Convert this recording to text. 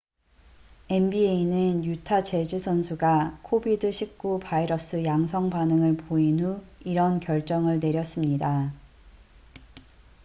nba는 유타 재즈 선수가 covid-19 바이러스 양성 반응을 보인 후 이런 결정을 내렸습니다